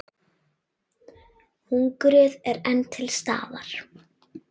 Hungrið er enn til staðar.